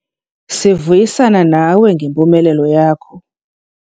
Sivuyisana nawe ngempumelelo yakho.